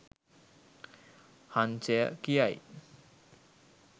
හංසය කියයි.